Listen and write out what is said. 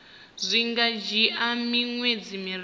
zwi nga dzhia miṅwedzi miraru